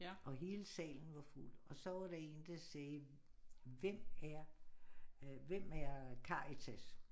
Og hele salen var fuld og så var der én der sagde hvem er øh hvem er Karitas